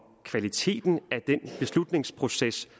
kvaliteten af den beslutningsproces